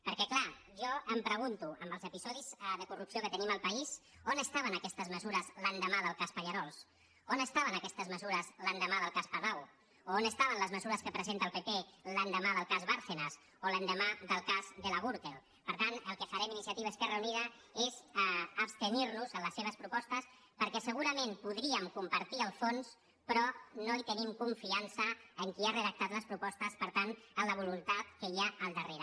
perquè és clar jo em pregunto amb els episodis de corrupció que tenim al país on estaven aquestes me·sures l’endemà del cas pallerols on estaven aquests mesures l’endemà del cas palau o on estaven les me·sures que presenta el pp l’endemà del cas bárcenas o l’endemà del cas de la gürtel per tant el que farem iniciativa i esquerra unida és abstenir·nos en les se·ves propostes perquè segurament podríem compartir el fons però no tenim confiança en qui ha redactat les propostes per tant en la voluntat que hi ha al darrere